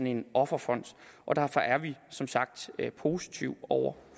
en offerfond derfor er vi som sagt positive over